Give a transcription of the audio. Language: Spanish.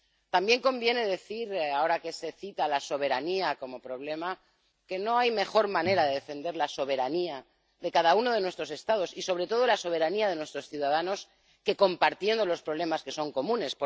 También conviene decir —ahora que se cita la soberanía como problema— que no hay mejor manera de defender la soberanía de cada uno de nuestros Estados, y sobre todo la soberanía de nuestros ciudadanos, que compartiendo los problemas que son comunes.